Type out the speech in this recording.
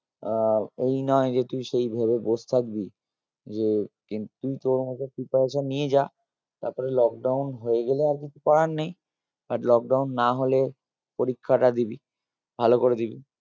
আহ এই নই যে তুই সেই ভেবে বস থাকবি যে তুই তোর মত preparation নিয়ে যা তারপরে lockdown হয়ে গেলে আর কিছু করার নেই আর lockdown না হলে পরীক্ষাটা দিবি ভালো করে দিবি